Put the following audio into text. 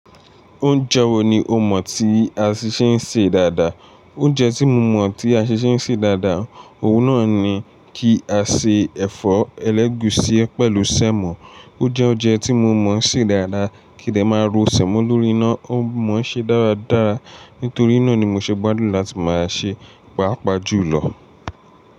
Oúnjẹ wo ni o mọ̀ tí a ṣi ṣé ń ṣe dáadáa? Oúnjẹ tí mo mọ̀ tí a ṣi ṣe ń ṣe dáadáa, òun náà ni kí a ṣe ẹ̀fọ́ ẹlẹ́gùúsí pẹ̀lú sẹ́mọ̀. Ó jẹ́ oúnjẹ tí mo mọ̀ ṣe dáadáa, kí dẹ máa ro sẹ́mọ́ lórí iná, ó mọ ṣé dáradára. Nítorí náà ni mo ṣe gbádùn láti máa ṣe, pàápàá jùlọ.